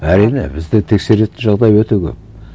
әрине бізде тексеретін жағдай өте көп